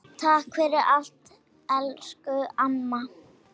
Takk fyrir allt elsku amma.